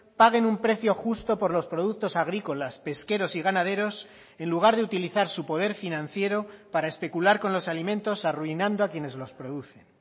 paguen un precio justo por los productos agrícolas pesqueros y ganaderos en lugar de utilizar su poder financiero para especular con los alimentos arruinando a quienes los producen